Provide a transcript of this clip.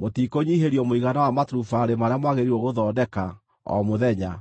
“Mũtikũnyiihĩrio mũigana wa maturubarĩ marĩa mwagĩrĩirwo gũthondeka o mũthenya.”